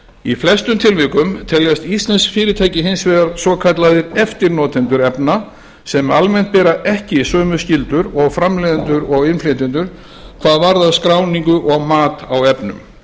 í flestum tilvikum teljast íslensk fyrirtæki hins vegar svokallaðir eftirnotendur efna sem almennt bera ekki sömu skyldur og framleiðendur og innflytjendur hvað varðar skráningu og mat á efnum